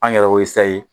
An yɛrɛ y'o